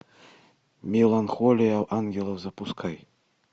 меланхолия ангелов запускай